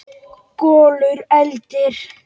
Kolur eltir.